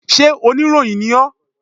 Sé oníròyìn ni ọ́?